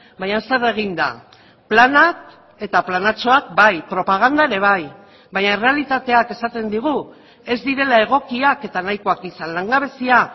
baina zer egin da planak eta planatxoak bai propaganda ere bai baina errealitateak esaten digu ez direla egokiak eta nahikoak izan langabezia